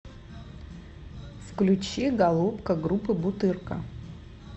включи голубка группы бутырка